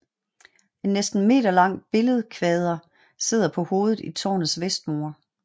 En næsten meterlang billedkvader sidder på hovedet i tårnets vestmur